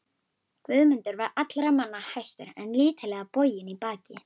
Guðmundur var allra manna hæstur en lítillega boginn í baki.